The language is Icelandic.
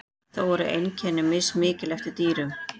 þó eru einkenni mismikil eftir dýrum